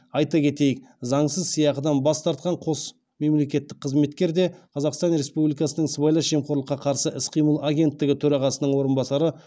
айта кетейік заңсыз сыйақыдан бас тартқан қос мемлекеттік қызметкер де қазақстан республикасының сыбайлас жемқорлыққа қарсы іс қимыл агенттігі төрағасының орынбасары